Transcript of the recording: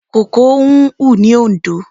Kòkó ń hù ní Oǹdó.